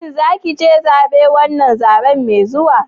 Shin za ka fita zaben wannan zabe mai zuwa?